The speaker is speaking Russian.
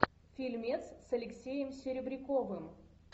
фильмец с алексеем серебряковым